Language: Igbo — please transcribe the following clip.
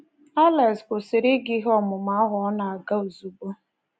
Alex kwụsịrị ịga ihe ọmụmụ ahụ ọ na-aga ozugbo.